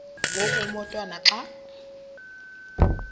ngoku umotwana xa